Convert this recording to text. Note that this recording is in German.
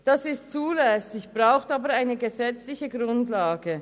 Das ist zulässig, braucht aber eine gesetzliche Grundlage.